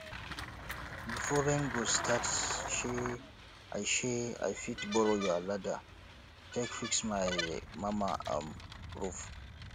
before rain go start shey i shey i fit borrow your ladder take fix my mama um roof